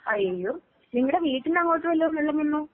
അയ്യോ. നിങ്ങടെ വീട്ടിന്റങ്ങോട്ട് വല്ലോം വെള്ളം വന്നോ?